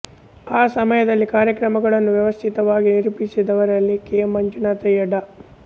ಆ ಸಮಯದಲ್ಲಿ ಕಾರ್ಯಕ್ರಮಗಳನ್ನು ವ್ಯವಸ್ಥಿತವಾಗಿ ನಿರೂಪಿಸಿದವರಲ್ಲಿ ಕೆ ಮಂಜುನಾಥಯ್ಯ ಡಾ